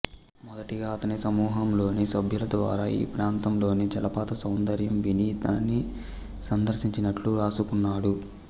మొదటిగా అతని సమూహంలోని సభ్యుల ద్వారా ఈ ప్రాంతంలోని జలపాతసౌందర్యం విని దానిని సందర్శించినట్లు వ్రాసుకున్నాడు